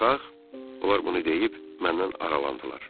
Onlar bunu deyib məndən aralandılar.